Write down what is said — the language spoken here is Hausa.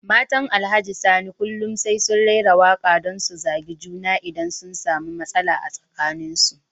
Matan Alhaji Sani kullum sai sun raira waka don su zagi juna idan sun samu matsala tsakanin su.